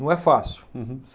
Não é fácil. Uhum.